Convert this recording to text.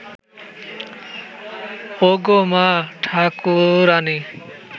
অগো মা-ঠাকুরানী